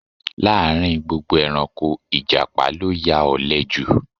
Láàrin gbogbo ẹranko, ìjàpá ló ya òle ju